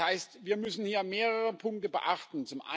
Das heißt, wir müssen hier mehrere Punkte beachten.